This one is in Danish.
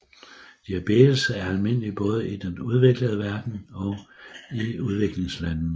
Diabetes er almindelig både i den udviklede verden og i udviklingslandene